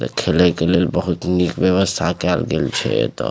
एता खेले के लेल बहुत निक व्यवस्था केएल गेल छै एते।